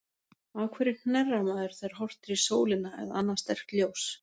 Af hverju hnerrar maður, þegar horft er í sólina, eða annað sterkt ljós?